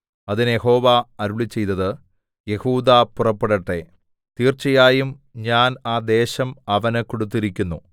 അതിന് യഹോവ അരുളിച്ചെയ്തത് യെഹൂദാ പുറപ്പെടട്ടെ തീർച്ചയായും ഞാൻ ആ ദേശം അവന് കൊടുത്തിരിക്കുന്നു